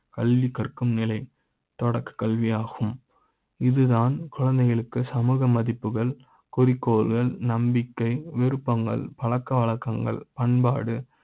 கல்வி கற்க்கும் நிலை தொடக்க கல்வி யாகும் இது தான் குழந்தைகளுக்கு சமூக மதிப்புகள் குறிக்கோள்கள், நம்பிக்கை, விருப்ப ங்கள், பழக்க வழக்க ங்கள் பண்பாடு